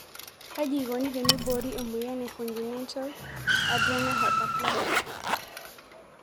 Kaji eikoni teneibori emoyian e congenital adrena hyperplasia?